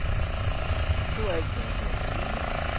Det var alt hvad jeg havde at sige.